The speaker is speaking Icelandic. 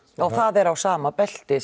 það er á sama belti